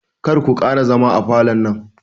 Karku ƙara zama a falon nan